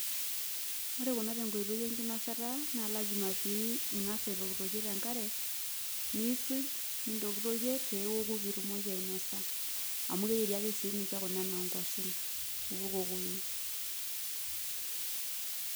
Ore kuna tenkoito enkinosata naa lazima pee ingas aitokitokie tenkare, niisuj nintokitokie newoku pee itumoki ainosa amu keyieri ake sininye ena enaa nkuashen oo kokoyo.